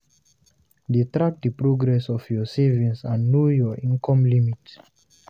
De track the progress of your savings and know your income limit